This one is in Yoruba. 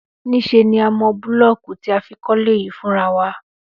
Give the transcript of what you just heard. Níṣe ni a mọ búlọ́ọ̀kù tí a fi kọ́lé yìí fúnra wa